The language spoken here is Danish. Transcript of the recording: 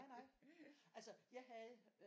Nej nej altså jeg havde